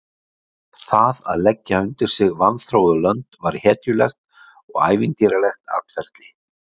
Það að leggja sig undir sig vanþróuð lönd var hetjulegt og ævintýralegt atferli.